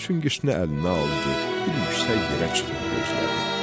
Çünkişini əlinə aldı, bir yüksək yerə çıxıb gözlədi.